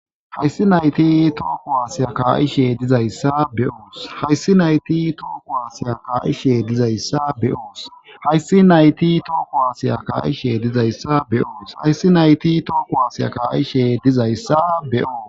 hayssi nayti tooko aasiya ka7ishe dizayssa be7oos hayssi nayti tooko aasiya kaa7ishe dizayssa be7oos hayssi nayti tooko aasiya kaa7ishe dizayssa be7oos h